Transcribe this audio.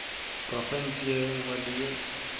profenseng ye nngwe le ye